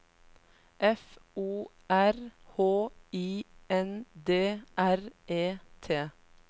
F O R H I N D R E T